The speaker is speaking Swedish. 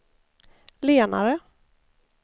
lenare